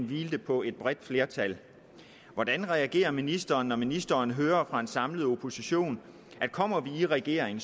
hvilede på et bredt flertal hvordan reagerer ministeren når ministeren hører fra en samlet opposition at kommer vi i regering